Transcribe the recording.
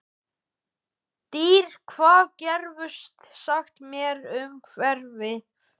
Dýri, hvað geturðu sagt mér um veðrið?